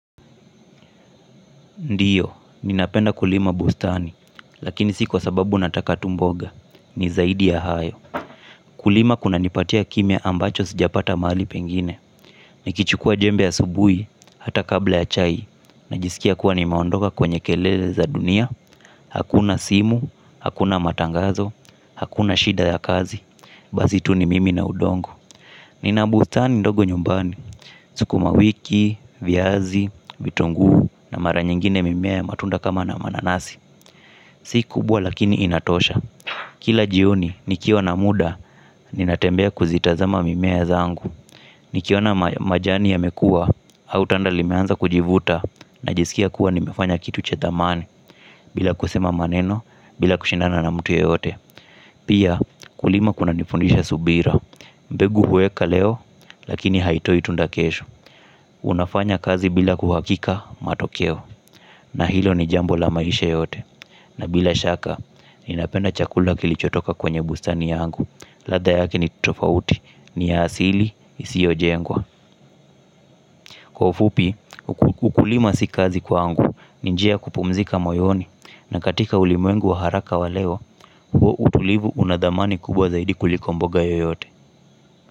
Ndiyo, ninapenda kulima bustani, lakini si kwa sababu nataka tu mboga, ni zaidi ya hayo. Kulima kunanipatia kimya ambacho sijapata mahali pengine. Nikichukua jembe ya asubuhi, hata kabla ya chai, najisikia kuwa nimeondoka kwenye kelele za dunia. Hakuna simu, hakuna matangazo, hakuna shida ya kazi, basi tu ni mimi na udongo. Nina bustani ndogo nyumbani, sukuma wiki, viazi, vitunguu na mara nyingine mimea ya matunda kama na mananasi. Sikubwa lakini inatosha, kila jioni nikiwa na muda ninatembea kuzitazama mimea zangu. Nikiona majani yamekua au tanda limeanza kujivuta najisikia kuwa nimefanya kitu cha thamani. Bila kusema maneno, bila kushindanana mtu yoyote. Pia kulima kuna nifundisha subira. Mbegu huweka leo, lakini haitoi tunda kesho. Unafanya kazi bila kuhakika matokeo. Na hilo ni jambo la maisha yote. Na bila shaka, ninapenda chakula kilichotoka kwenye bustani yangu. Ladha yake ni tofauti, ni ya asili, isiojengwa. Kwa ufupi, ukulima si kazi kwangu, ni njia ya kupumzika moyoni. Na katika ulimwengu wa haraka wa leo, utulivu una thamani kubwa zaidi kuliko mboga yoyote.